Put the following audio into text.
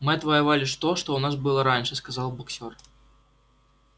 мы отвоевали то что у нас было раньше сказал боксёр